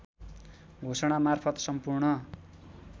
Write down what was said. घोषणा मार्फत सम्पूर्ण